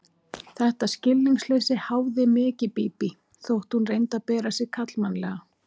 Þetta skilningsleysi háði mikið Bíbí, þótt hún reyndi að bera sig karlmannlega.